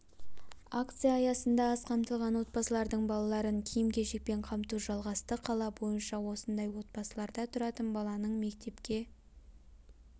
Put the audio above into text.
акция аясында аз қамтылған отбасылардың балаларын киім-кешекпен қамту жалғасты қала бойынша осындай отбасыларда тұратын баланың мектепке